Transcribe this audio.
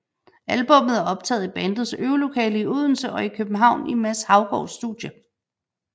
Albummet er optaget i bandets øvelokale i Odense og i København i Mads Haugaards studie